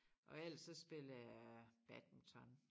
Og ellers så spiller jeg badminton